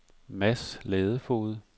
Mads Ladefoged